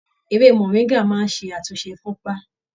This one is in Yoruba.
Ewé moringa máa ṣe àtúnṣe ifunpa.